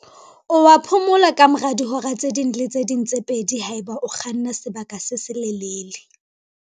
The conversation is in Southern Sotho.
O a phomola kamora dihora tse ding le tse ding tse pedi haeba o kganna sebaka se se lelele.